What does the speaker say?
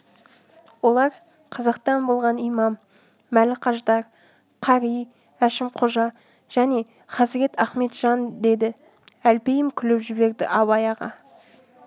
олар қазақтан болған имам мәліқаждар қари әшімқожа және хазірет ахметжан деді әлпейім күліп жіберді абай аға